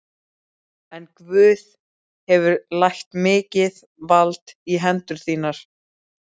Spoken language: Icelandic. En Guð hefur lagt mikið vald í hendur þínar.